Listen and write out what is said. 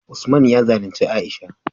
Usman ya zalunci Aisha